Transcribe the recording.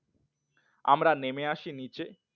আমরা নেমে আসি নিচে